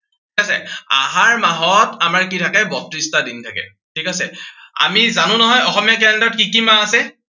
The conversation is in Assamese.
ঠিক আছে। আহাৰ মাহত আমাৰ কি থাকে বত্ৰিশটা দিন থাকে, ঠিক আছে। আমি জানো নহয়, অসমীয়া calender ত কি কি মাহ আছে?